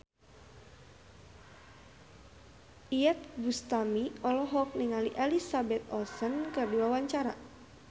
Iyeth Bustami olohok ningali Elizabeth Olsen keur diwawancara